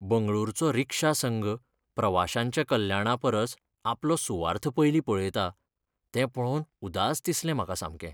बंगळुरूचो रिक्षा संघ प्रवाशांच्या कल्याणा परस आपलो सुवार्थ पयलीं पळयता तें पळोवन उदास दिसलें म्हाका सामकें.